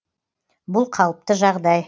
бұл қалыпты жағдай